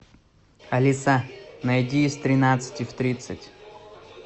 алиса найди из тринадцати в тридцать